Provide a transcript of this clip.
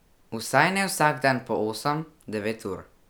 Vsaj ne vsak dan po osem, devet ur.